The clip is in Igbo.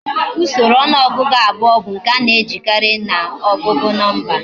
Usoro onuogugu abuo bu nke ana ejikari na ogugu nomba